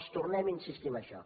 els tornem a insistir en això